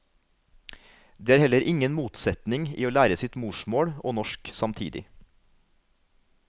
Det er heller ingen motsetning i å lære sitt morsmål og norsk samtidig.